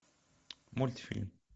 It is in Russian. мультфильм